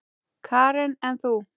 Karen: En þú?